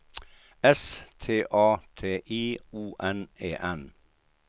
S T A T I O N E N